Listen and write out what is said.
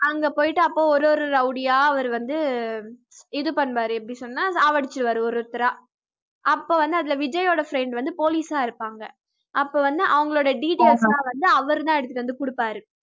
அங்க போயிட்டு அப்ப ஒரு ஒரு rowdy யா அவரு வந்து இது பண்ணுவாரு எப்படி சொன்னா சாவடிச்சிடுவாரு ஒரு ஒருத்தரா அப்ப வந்து அதுல விஜய்யோட friend வந்து police ஆ இருப்பாங்க அப்ப வந்து அவங்களோட details லாம் வந்து அவரு தான் எடுத்துட்டு வந்து குடுப்பாரு